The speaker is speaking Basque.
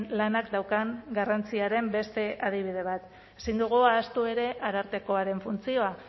lanak daukan garrantziaren beste adibide bat ezin dugu ahaztu ere arartekoaren funtzioa